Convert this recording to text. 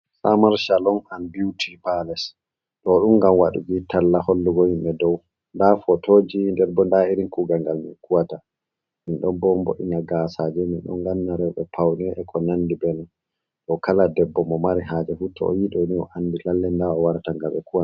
Samar Salon an Biuti Pales.ɗo ɗum ngam waɗugo talla hollugo himɓe. ɗou nda Fotoji nder bo nda irin Kuugal ngal min Kuwata .Min ɗon mbo'in Gasaje, Minɗon ganna Reuɓe Paune be ko nandi benon. Ɗow Kala Debbo mo mari haje fu to oyiɗini O andi Lalle nda ha owarata ngam ɓe Kuwana mo.